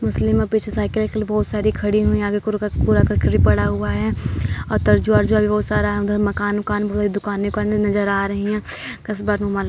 मुस्लिम और पीछे साइकिल वाईकिल बहुत सारी खड़ी हुई है आगे कूड़ा-करकट भी पड़ा हुआ है और तरजुआ-अरजुआ भी बहुत सारा है उधर माकन-वकान व दुकाने-वुकाने नजर आ रही है। क़स्बा --